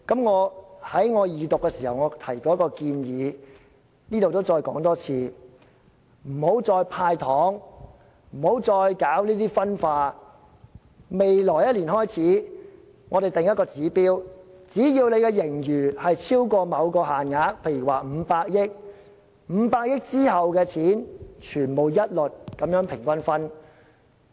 我在二讀時提到一項建議，我在這裏再說一次：不要再"派糖"，不要再搞分化，我們在未來1年開始制訂一個指標，只要盈餘超過某限額，例如500億元，在500億元之後的金錢一律平均分派。